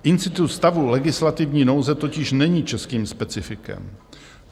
Institut stavu legislativní nouze totiž není českým specifikem.